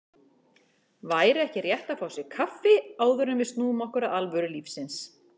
Væri ekki rétt að fá sér kaffi, áður en við snúum okkur að alvöru lífsins.